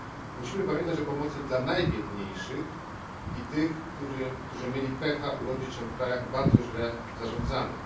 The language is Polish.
Musimy pamiętać o pomocy dla najbiedniejszych i tych, którzy mieli pecha urodzić się w krajach bardzo źle zarządzanych.